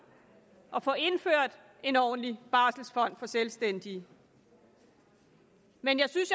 at få indført en ordentlig barselfond for selvstændige men jeg synes